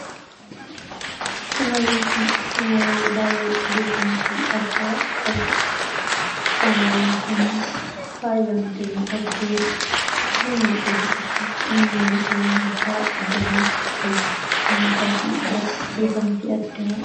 Shamarreen kun shamarre baay'ee beekamtii addaa qabduudha. Shamarreen kun faayyamtee miidhagdee jireenya ishee kessattis nama seenaa addaa galmeesistee namootaa birattis beekamtii adda